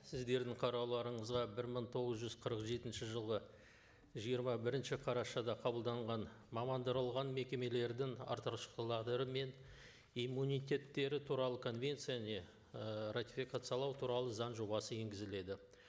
сіздердің қарауларыңызға бір мың тоғыз жүз қырық жетінші жылғы жиырма бірінші қарашада қабылданған мамандырылған мекемелердің мен иммунитеттері туралы конвенцияны ы ратификациялау туралы заң жобасы енгізіледі